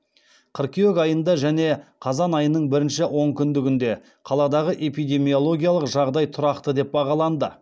қыркүйек айында және қазан айының бірінші онкүндігінде қаладағы эпидемиологиялық жағдай тұрақты деп бағаланды